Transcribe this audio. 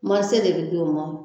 de bɛ di o ma.